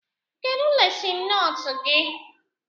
Kedụ lesịn nootu gị?